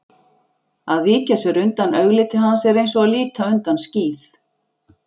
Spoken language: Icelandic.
Að víkja sér undan augliti hans er eins og að líta undan skíð